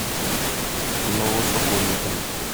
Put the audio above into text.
новосокольникам